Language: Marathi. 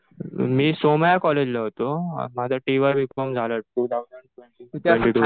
मी सोमय्या कॉलेजला होतो. माझं टी वाय बी कॉम झालं टु थाउजंड ट्वेन्टी टु